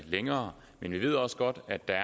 længere men vi ved også godt at der